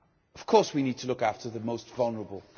Of course we need to look after the most vulnerable.